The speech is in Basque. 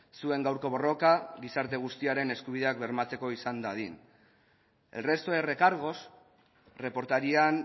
zuen gaurko borroka gizarte guztiaren eskubideak bermatzeko izan dadin el resto de recargos reportarían